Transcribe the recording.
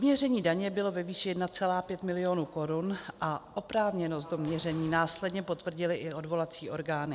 Doměření daně bylo ve výši 1,5 milionu korun a oprávněnost doměření následně potvrdily i odvolací orgány.